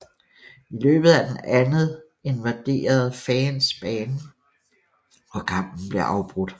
I løbet af den andet invaderede fans banen og kampen blev afbrudt